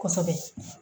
Kosɛbɛ